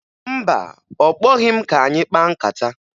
Mba, ọ kpọghị m ka anyị kpaa nkata.